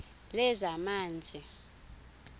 lezamanzi